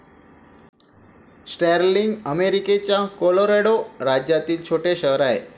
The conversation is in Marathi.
स्टर्लिंग अमेरिकेच्या कोलोरॅडो राज्यातील छोटे शहर आहे.